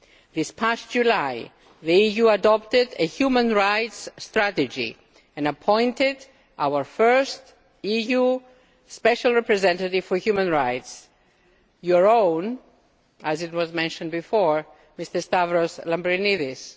This past July, the EU adopted a human rights strategy and appointed our first EU Special Representative for Human Rights your own, as was mentioned before, Mr Stavros Lambrinidis.